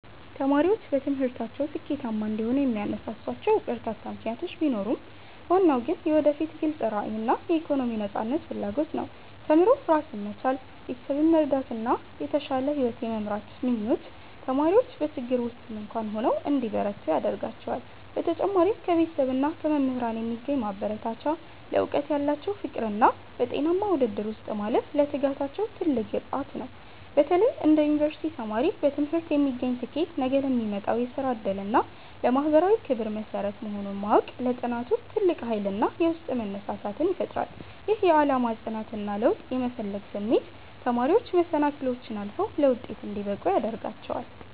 ተማሪዎች በትምህርታቸው ስኬታማ እንዲሆኑ የሚያነሳሷቸው በርካታ ምክንያቶች ቢኖሩም፣ ዋናው ግን የወደፊት ግልጽ ራዕይና የኢኮኖሚ ነፃነት ፍላጎት ነው። ተምሮ ራስን መቻል፣ ቤተሰብን መርዳትና የተሻለ ሕይወት የመምራት ምኞት ተማሪዎች በችግር ውስጥም እንኳ ሆነው እንዲበረቱ ያደርጋቸዋል። በተጨማሪም ከቤተሰብና ከመምህራን የሚገኝ ማበረታቻ፣ ለዕውቀት ያላቸው ፍቅርና በጤናማ ውድድር ውስጥ ማለፍ ለትጋታቸው ትልቅ ግብዓት ነው። በተለይ እንደ ዩኒቨርሲቲ ተማሪ፣ በትምህርት የሚገኝ ስኬት ነገ ለሚመጣው የሥራ ዕድልና ለማኅበራዊ ክብር መሠረት መሆኑን ማወቅ ለጥናቱ ትልቅ ኃይልና የውስጥ መነሳሳትን ይፈጥራል። ይህ የዓላማ ጽናትና ለውጥ የመፈለግ ስሜት ተማሪዎች መሰናክሎችን አልፈው ለውጤት እንዲበቁ ያደርጋቸዋል።